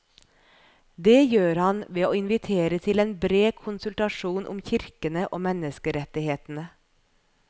Det gjør han ved å invitere til en bred konsultasjon om kirkene og menneskerettighetene.